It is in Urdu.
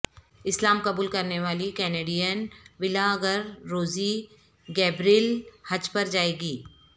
اسلام قبول کرنے والی کینیڈین ولاگرروزی گیبریل حج پرجائیں گی